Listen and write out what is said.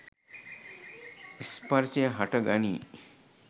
ස්පර්ෂය හට ගනී.